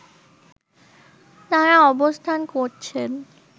তারা অবস্থান করছেন